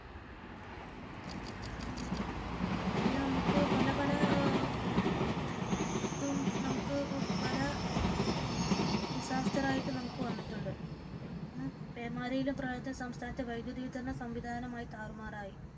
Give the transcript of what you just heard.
അങ്ങനെ നമുക്ക് പല പല ഇതും നമുക്ക് പല ഡിസാസ്റ്റർ ആയിട്ടു നമുക്ക് വന്നിട്ടുണ്ട് പേമാരിയിലും പ്രളയത്തിലും സംസ്ഥാനത്തെ വൈദ്യുത വിതരണ സംവിധാനം ആകെ താറുമാറായി